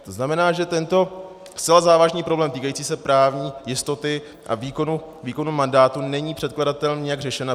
To znamená, že tento zcela závažný problém týkající se právní jistoty a výkonu mandátu není předkladatelem nijak řešen.